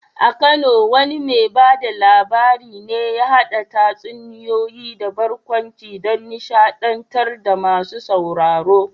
A Kano wane mai ba da labari ne ya haɗa tatsuniyoyi da barkwanci don nishaɗantar da masu sauraro?